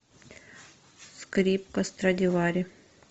скрипка страдивари